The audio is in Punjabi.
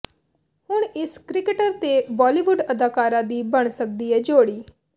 ਹੁਣ ਇਸ ਕ੍ਰਿਕਟਰ ਤੇ ਬਾਲੀਵੁੱਡ ਅਦਾਕਾਰਾ ਦੀ ਬਣ ਸਕਦੀ ਏ ਜੋੜੀ